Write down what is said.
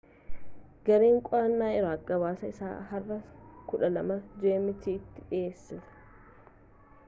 gareen qo'annoo iraaq gabaasa isaa har'a 12.00 gmt tti dhiyeesse